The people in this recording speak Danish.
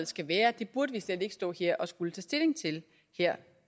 skal være det burde vi slet ikke stå her og skulle tage stilling til